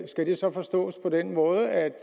skal det så forstås på den måde at